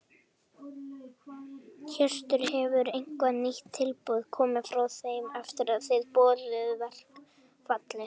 Hjörtur: Hefur eitthvað nýtt tilboð komið frá þeim eftir að þið boðuðu verkfallið?